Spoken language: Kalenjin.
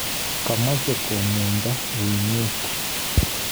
Komoche komgunda uinwek.